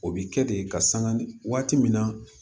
O bi kɛ de ka sangan ni waati min na